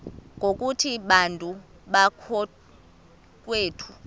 ngokuthi bantu bakowethu